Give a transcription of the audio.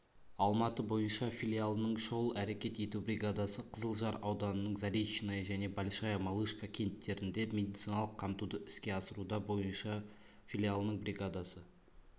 алматы бойынша филиалының шұғыл әрекет ету бригадасы қызылжар ауданының заречное және большая малышка кенттерінде медициналық қамтуды іске асыруда бойынша филиалының бригадасы